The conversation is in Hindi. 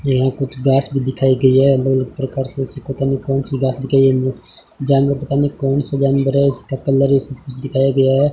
यहीं कुछ घास भी दिखाया गया है अलग अलग प्रकार से ऐसी पता नहीं कौन सी घास जानवर पता न कौन सा जानवर है इसका कलर दिखाया गया है।